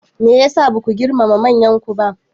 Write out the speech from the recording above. Me ya sa ba ku girmama manyanku?